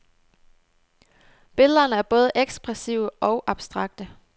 Billederne er både ekspressive og abstrakte.